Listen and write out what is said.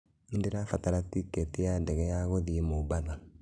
Nĩndirabatara tiketi ya ndege ya gũthiĩ Mombatha